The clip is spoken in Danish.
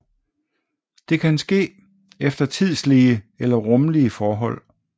Det kan ske efter tidslige eller rumlige forhold